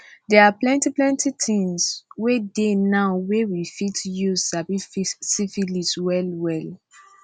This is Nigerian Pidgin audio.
they are plenty plenty things wey dey now were we fit use sabi syphilis well well